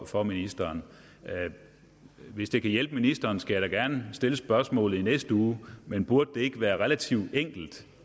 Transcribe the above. for ministeren hvis det kan hjælpe ministeren skal jeg da gerne stille spørgsmålet i næste uge men burde det ikke være relativt enkelt